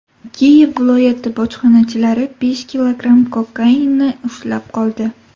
Kiyev viloyati bojxonachilari besh kilogramm kokainni ushlab qoldi.